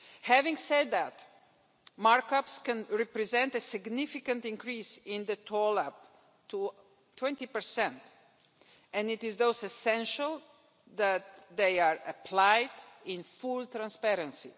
Having said that, markups can represent a significant increase in the toll up to 20 and it is thus essential that they are applied in full transparency.